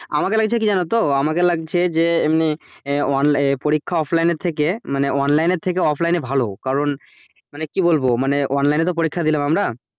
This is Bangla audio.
আমাকে লাগছে কি জানো তো আমাকে লাগছে যে এমনি পরীক্ষা off line এর থেকে মানে online এর থেকে off line ভালো পরীক্ষা online এ থেকে online এ ভালো কারন মানে কি বলবো মানে online এ তো পরীক্ষা দিলাম আমরা,